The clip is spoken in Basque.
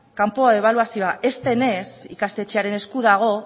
kanpo ebaluazioa ez denez ikastetxearen esku dago